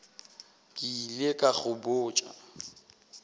ke ile ka go botša